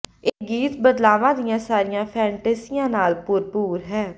ਇਹ ਗੀਤ ਬਦਲਾਵਾਂ ਦੀਆਂ ਸਾਰੀਆਂ ਫੈਨਟੈਸੀਆਂ ਨਾਲ ਭਰਪੂਰ ਹੈ